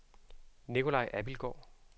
Nicolaj Abildgaard